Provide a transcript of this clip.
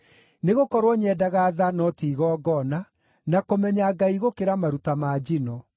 Nĩgũkorwo nyendaga tha no ti igongona, na kũmenya Ngai gũkĩra maruta ma njino.